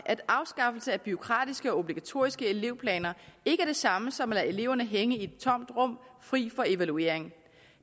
at afskaffelse af bureaukratiske og obligatoriske elevplaner ikke er det samme som at lade eleverne hænge i et tomt rum frit for evaluering